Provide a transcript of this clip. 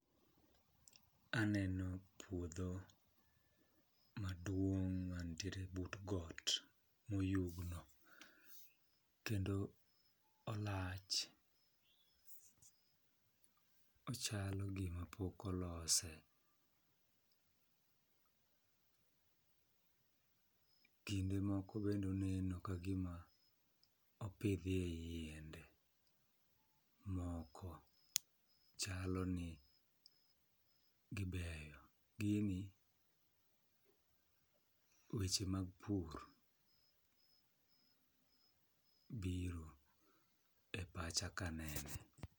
Aneno puodho maduong' mantiere but got moyugno, kendo olach ochalo gima pok olose. Kinde moko bende oneno ka gima opidhie yiende moko, chalo ni gibeyo. Gini weche mag pur biro e pacha ka nene.